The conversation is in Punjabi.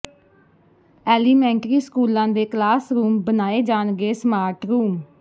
ਐਲੀਮੈਂਟਰੀ ਸਕੂਲਾਂ ਦੇ ਕਲਾਸ ਰੂਮ ਬਣਾਏ ਜਾਣਗੇ ਸਮਾਰਟ ਰੂਮ